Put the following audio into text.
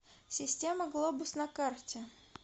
система глобус на карте